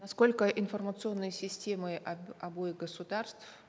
насколько информационные системы обоих государств